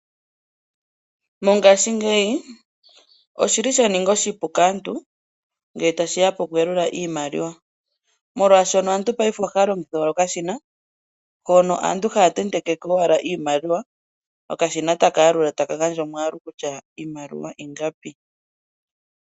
Mongaashingeyi oshili sha ninga oshipu kaantu ngele tashiya poku yalula iimaliwa, molwaashono aantu paife ohaya longitha okashina hono aantu haya tentekeko owala iimaliwa okashina taka yalula, taka gandja omwaalu kutya iimaliwa ingapi.